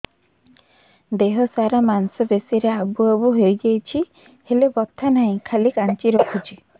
ଦେହ ସାରା ମାଂସ ପେଷି ରେ ଆବୁ ଆବୁ ହୋଇଯାଇଛି ହେଲେ ବଥା ନାହିଁ ଖାଲି କାଞ୍ଚି ରଖୁଛି